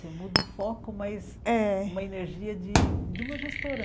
Você muda o foco, mas É Uma energia de de uma gestora.